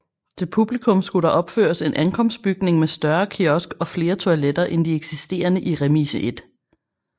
Til publikum skulle der opføres en ankomstbygning med større kiosk og flere toiletter end de eksisterende i Remise 1